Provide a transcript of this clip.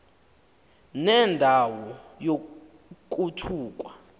nenda wo yokuthukwa